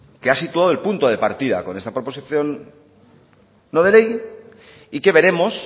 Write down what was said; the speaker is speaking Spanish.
que ha situado el punto de partida con esta proposición no de ley y que veremos